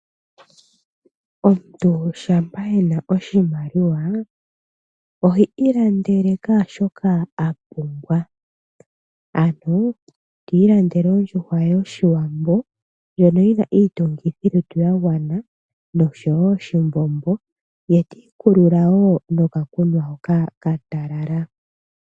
Omuntu shampa e na oshimaliwa, ohi ilandele kehe shoka a pumbwa. Ano to ilandele ondjuhwa yoshiwambo ndjoka yi na iitungithi ya gwana noshowo oshimbombo, ye ti ikulula wo nokakunwa hoka ka talala.